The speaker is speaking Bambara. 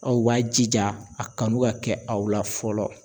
Aw b'a jija a kanu ka kɛ aw la fɔlɔ